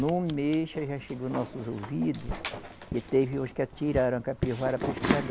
Num mês já chegou nossos ouvidos que teve uns que atiraram a capivara para estragar.